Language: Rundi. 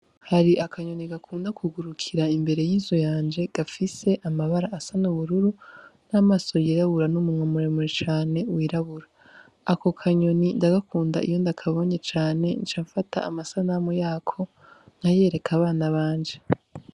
Hari akanyoni gakunda kugurukira imbere y'izu yanje gafise amabara asa n'ubururu n'amaso yirabura n'umumwamuremure cane wirabura ako kanyoni ndagakunda iyo ndakabonye cane ncamfata amasa namu yako nkayereka abana banje.